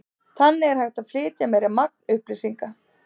Þannig er hægt að flytja meira magn upplýsinga.